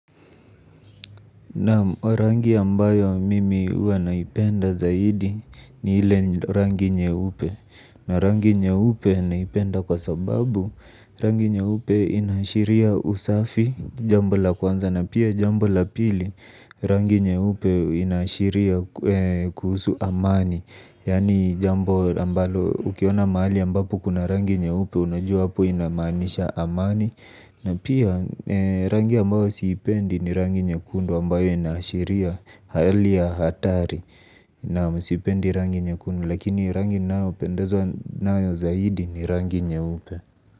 Naam, rangi ambayo mimi huwa naipenda zaidi ni ile rangi nyeupe. Na rangi nyeupe naipenda kwa sababu rangi nyeupe inaashiria usafi, jambo la kwanza na pia jambo la pili. Rangi nyeupe inaashiria kuhusu amani. Ukiona mahali rangi nyeupe inamaanisha hapo kuna amani. Na pia rangi ambayo siipendi ni rangi nyekundu ambayo inashiria hali ya hatari. Naam, sipendi rangi nyekundu lakini rangi ninayopendezwa nayo zaidi ni rangi nyeupe.